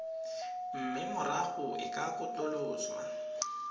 mme morago e ka katoloswa